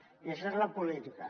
i això és la política